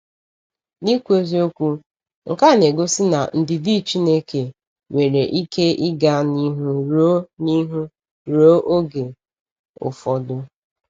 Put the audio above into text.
N’ikwu eziokwu, nke a na-egosi na ndidi Chineke nwere ike ịga n’ihu ruo n’ihu ruo oge ụfọdụ.